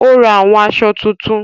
Ó ra àwọn aṣọ titun